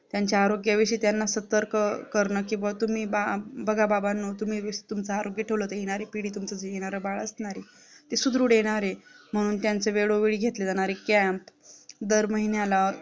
त्यांच्या आरोग्याविषयी त्यांना सतर्क करणं किंवा तुम्ही बघा बाबांनो तुमचं आरोग्य ठेवलं तर येणारी पिढी जे तुमचं येणार बाळ नाही ते सुधृढ येणारे म्हणून त्यांच्या ज्या वेळोवेळी घेतले camp दर महिन्याला